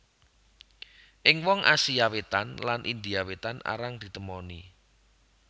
Ing wong Asia Wétan lan India Wétan arang ditemoni